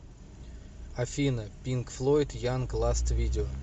афина пинк флойд янг ласт видео